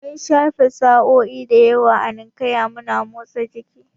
Mun shafe sa'o'i da yawa a Ninkaya muna motsa jiki